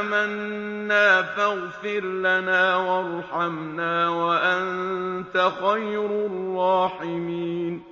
آمَنَّا فَاغْفِرْ لَنَا وَارْحَمْنَا وَأَنتَ خَيْرُ الرَّاحِمِينَ